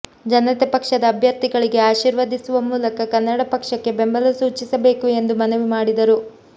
ಜನತೆ ಪಕ್ಷದ ಅಭ್ಯರ್ಥಿಗಳಿಗೆ ಆಶೀರ್ವದಿಸುವ ಮೂಲಕ ಕನ್ನಡ ಪಕ್ಷಕ್ಕೆ ಬೆಂಬಲ ಸೂಚಿಸಬೇಕು ಎಂದು ಮನವಿ ಮಾಡಿದರು